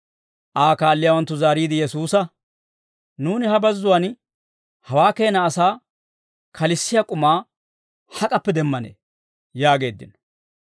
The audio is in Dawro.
Aa kaalliyaawanttu zaariide Yesuusa, «Nuuni ha bazzuwaan hawaa keena asaa kalissiyaa k'umaa hak'appe demmanee?» yaageeddino.